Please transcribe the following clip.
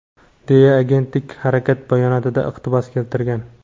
deya agentlik harakat bayonotidan iqtibos keltirgan.